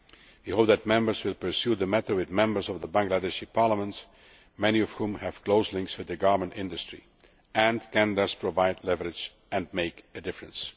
We hope that Members will pursue the matter with Members of the Bangladeshi Parliament, many of whom have close links with the garment industry and can thus provide leverage and make a difference.